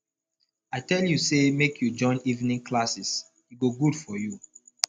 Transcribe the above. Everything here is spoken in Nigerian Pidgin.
i tell you say make you join evening classes e go good for you